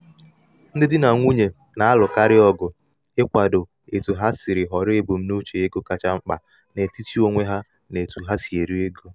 um ndi di na nwunye na-alụkarị ọgụ ịkwado otu ha ga-esi họrọ ebumnuche ego kacha mkpa n’etiti onwe ha n’otú ha n’otú ha si eri ego.